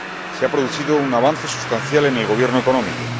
Se ha producido un avance sustancial en el gobierno económico.